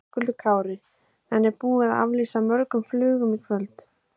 Höskuldur Kári: En er búið að aflýsa mörgum flugum í kvöld?